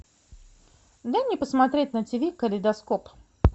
дай мне посмотреть на тиви калейдоскоп